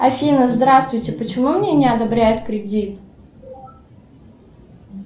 афина здравствуйте почему мне не одобряют кредит